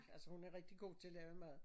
Altså hun er rigtig god til at lave mad